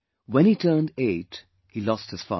When he turned eight he lost his father